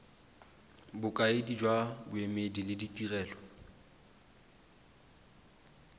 bokaedi jwa boemedi le ditirelo